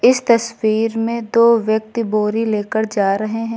इस तस्वीर में दो व्यक्ति बोरी लेकर जा रहे है।